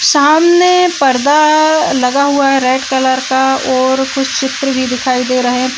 सामने पर्दा लगा हुआ है रेड कलर का और कुछ चित्र भी दिखाई दे रहे हैं।